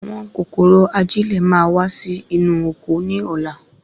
Àwọn kòkòrò ajilẹ́ ma wa Si inú oko ní ọlá